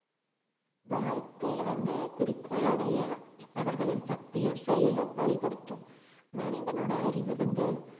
வாழ்க்கையில வந்து குறிக்கோள் அடைய அவர்களின் சக்தியும் செயலும் வழிப்படுத்தும் மனிதனோட அறிவு வந்து